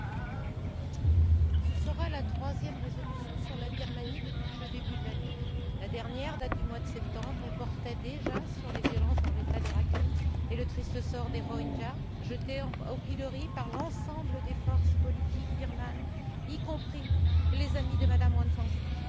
Monsieur le Président, ce sera la troisième résolution sur la Birmanie depuis le début de l'année. La dernière date du mois de septembre, et portait déjà sur les violences dans l'État de Rakhine et le triste sort des Rohingyas jetés au pilori par l'ensemble des forces politiques birmanes, y compris les amis de Mme Aung San Suu Kyi.